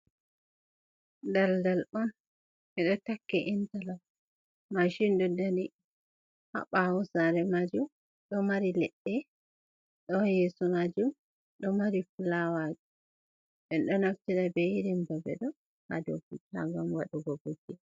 Daldal on edo takki intala mashindo dani habawusare majum do mari ledde do yeso majum do mari flawaji on do naftida be irin babedo ha dofuta gam wadugo kuje.